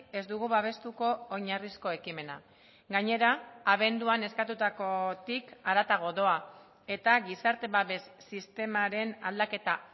ez dugu babestuko oinarrizko ekimena gainera abenduan eskatutakotik haratago doa eta gizarte babes sistemaren aldaketa